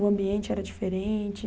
O ambiente era diferente?